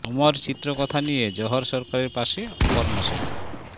অমর চিত্র কথা নিয়ে জহর সরকারের পাশে অপর্ণা সেন